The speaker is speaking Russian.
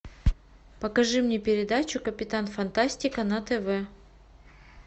покажи мне передачу капитан фантастика на тв